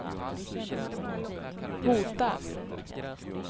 hotar